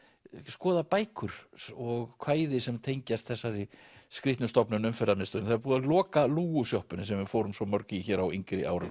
skoða bækur og kvæði sem tengjast þessari skrýtnu stofnun Umferðarmiðstöðinni það er búið að loka lúgusjoppunni sem við fórum svo mörg í hér á yngri árum